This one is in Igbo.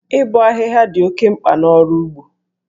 Ịbọ ahịhịa dị oke mkpa n'ọrụ ugbo.